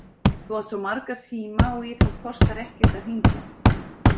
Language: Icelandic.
Þú átt svo marga síma og í þá kostar ekkert að hringja.